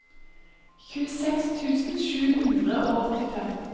tjueseks tusen sju hundre og åttifem